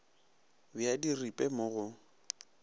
be a diripe mo go